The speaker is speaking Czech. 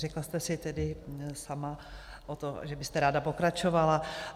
Řekla jste si tedy sama o to, že byste ráda pokračovala.